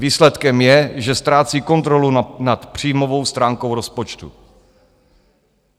Výsledkem je, že ztrácí kontrolu nad příjmovou stránkou rozpočtu.